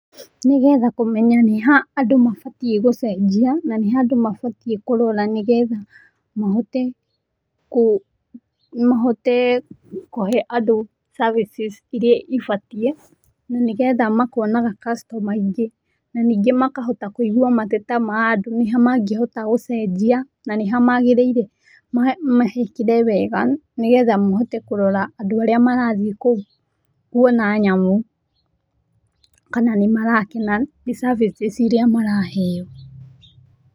Nĩgetha kũmenya nĩha andũ mabatie gũcenjia, na nĩ ha andũ mabatie kũrora nĩgetha mahote kũ mahote kũhe andũ services iria ibatie na nĩgetha makonaga customers aingĩ, na ningĩ makahota kũigwa mateta ma andũ, nĩha mangĩhota gũcenjia na nĩha magĩrĩire mahekĩre wega, nĩgetha mahote kũrora andũ arĩa marathiĩ kũu kwona nyamũ, kana nĩ marakena nĩ services iria maraheo.